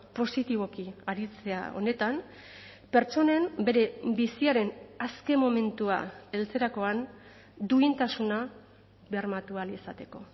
positiboki aritzea honetan pertsonen bere biziaren azken momentua heltzerakoan duintasuna bermatu ahal izateko